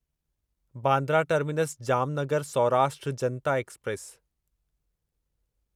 Bandra terminus Jamnagar Saurashtra Janata express